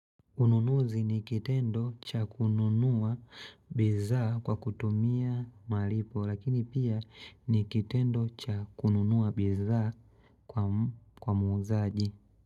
Ununuzi ni kitendo cha kununua bidhaa kwa kutumia malipo lakini pia ni kitendo cha kununua bidhaa kwa muuzaji.